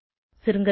சுருங்கசொல்ல